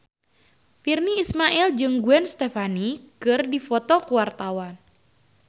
Virnie Ismail jeung Gwen Stefani keur dipoto ku wartawan